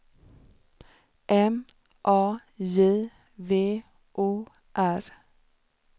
M A J V O R